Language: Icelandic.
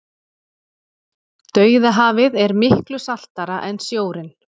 dauðahafið er miklu saltara en sjórinn